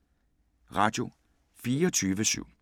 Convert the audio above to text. Radio24syv